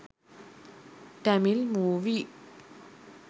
tamil movie